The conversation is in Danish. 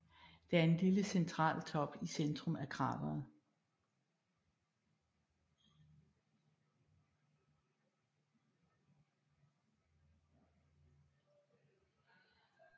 Der er en lille central top i centrum af krateret